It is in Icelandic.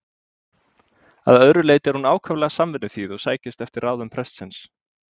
Að öðru leyti er hún ákaflega samvinnuþýð og sækist eftir ráðum prestsins.